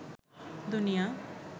দুনিয়া